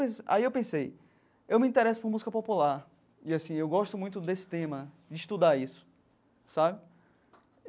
Aí eu pensei, eu me interesso por música popular e assim eu gosto muito desse tema, de estudar isso sabe.